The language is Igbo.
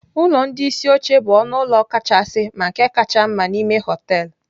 Ụlọ ndị isi oche bụ ọnụ ụlọ kachasị na nke kacha mma n'ime họteelụ.